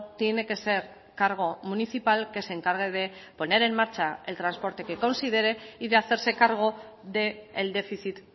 tiene que ser cargo municipal que se encargue de poner en marcha el transporte que considere y de hacerse cargo del déficit